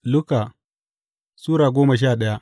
Luka Sura goma sha daya